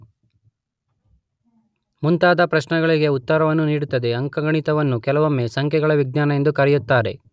ಮುಂತಾದ ಪ್ರಶ್ನೆಗಳಿಗೆ ಉತ್ತರವನ್ನು ನೀಡುತ್ತದೆ.ಅಂಕಗಣಿತವನ್ನು ಕೆಲವೊಮ್ಮೆ ಸಂಖ್ಯೆಗಳ ವಿಜ್ಞಾನ ಎಂದೂ ಕರೆಯುತ್ತಾರೆ.